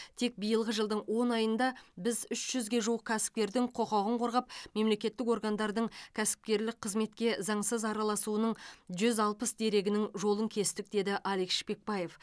тек биылғы жылдың он айында біз үш жүзге жуық кәсіпкердің құқығын қорғап мемлекеттік органдардың кәсіпкерлік қызметке заңсыз араласуының жүз алпыс дерегінің жолын кестік деді алик шпекбаев